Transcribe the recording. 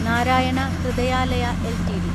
Narayana Hrudayalaya LTD